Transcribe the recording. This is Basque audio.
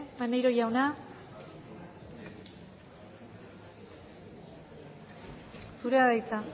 maneiro jauna zurea da hitza